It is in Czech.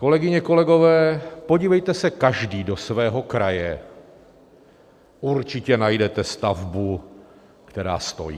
Kolegyně, kolegové, podívejte se každý do svého kraje, určitě najdete stavbu, která stojí.